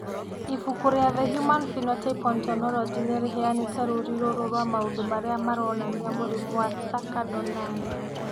Ibuku rĩa The Human Phenotype Ontology nĩ rĩheanĩte rũũri rũrũ rwa maũndũ marĩa maronania mũrimũ wa Thakker Donnai.